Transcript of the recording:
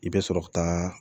I bɛ sɔrɔ ka taa